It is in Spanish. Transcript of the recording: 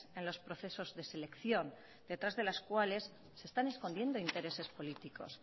en los procesos de selección detrás de las cuales se están escondiendo intereses políticos